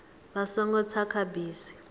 vha songo tsa kha bisi